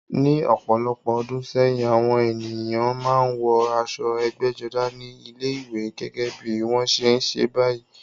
Ní ọ̀pọ̀lọpọ̀ ọdún sẹ́yìn, àwọn ènìyàn máa ń wọ aṣọ ẹgbẹ́jọdá ní ilé-ìwé, gẹ́gẹ́ bí wọ́n ṣe ń ṣe báyìí.